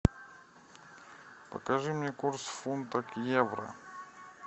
покажи мне курс фунта к евро